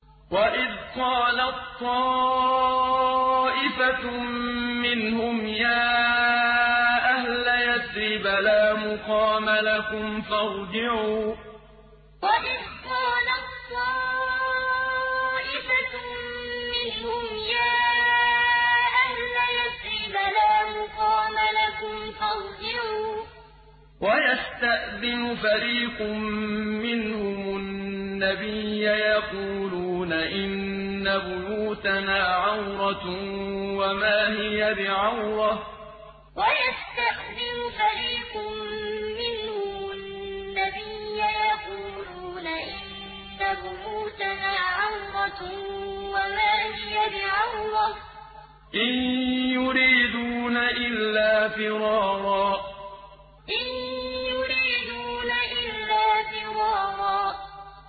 وَإِذْ قَالَت طَّائِفَةٌ مِّنْهُمْ يَا أَهْلَ يَثْرِبَ لَا مُقَامَ لَكُمْ فَارْجِعُوا ۚ وَيَسْتَأْذِنُ فَرِيقٌ مِّنْهُمُ النَّبِيَّ يَقُولُونَ إِنَّ بُيُوتَنَا عَوْرَةٌ وَمَا هِيَ بِعَوْرَةٍ ۖ إِن يُرِيدُونَ إِلَّا فِرَارًا وَإِذْ قَالَت طَّائِفَةٌ مِّنْهُمْ يَا أَهْلَ يَثْرِبَ لَا مُقَامَ لَكُمْ فَارْجِعُوا ۚ وَيَسْتَأْذِنُ فَرِيقٌ مِّنْهُمُ النَّبِيَّ يَقُولُونَ إِنَّ بُيُوتَنَا عَوْرَةٌ وَمَا هِيَ بِعَوْرَةٍ ۖ إِن يُرِيدُونَ إِلَّا فِرَارًا